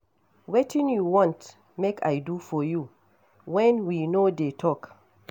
Wetin you want make I do for you wen we no dey talk.